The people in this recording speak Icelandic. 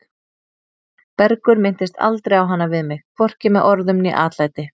Bergur minntist aldrei á hana við mig, hvorki með orðum né atlæti.